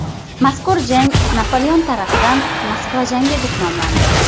Mazkur jang Napoleon tarafidan Moskva jangi deb nomlandi.